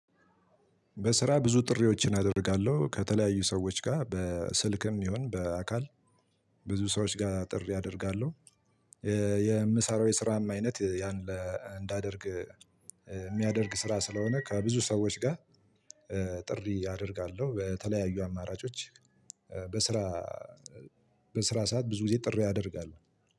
በስራ ብዙ ጥሪዎችን አደርጋለሁ ከተለያዩ ሰዎች ጋር በስልክም ይሁን በአካል ብዙ ሰዎች ጋር ጥሪ አደርጋለሁ። የምሰራው የስራም አይነት ያን እንዳደርግ የሚያደርግ ስራ ስለሆነ ከብዙ ሰዎች ጋር። ጥሪ አደርጋለሁ በተለያዩ አማራጮች። በስራ በስራ ሰዓት ብዙ ጊዜ ጥር አደርጋለሁ።